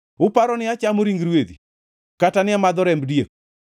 Uparo ni achamo ring rwedhi kata ni amadho remb diek?